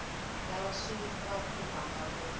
lava swi va khumbhaka ku